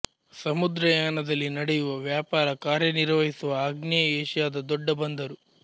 ಸಮುದ್ರಯಾನದಲ್ಲಿ ನಡೆಯುವ ವ್ಯಾಪಾರ ಕಾರ್ಯನಿರ್ವಹಿಸುವ ಆಗ್ನೇಯ ಏಷ್ಯಾದ ದೊಡ್ಡ ಬಂದರು